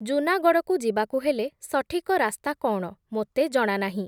ଜୁନାଗଡ଼କୁ ଯିବାକୁ ହେଲେ, ସଠିକ ରାସ୍ତା କ’ଣ, ମୋତେ ଜଣା ନାହିଁ ।